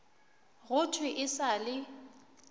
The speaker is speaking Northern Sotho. go thwe e sa le